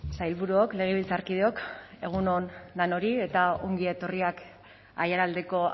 sailburuok legebiltzarkideok egun on denoi eta ongi etorriak aiaraldeko